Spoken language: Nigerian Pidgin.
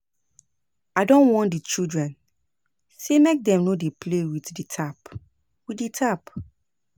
I don warn di children sey make dem no dey play with di tap. with di tap.